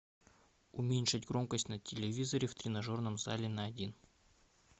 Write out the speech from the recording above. уменьши громкость на телевизоре в тренажерном зале на один